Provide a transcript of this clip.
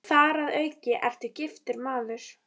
Þar að auki ertu giftur maður.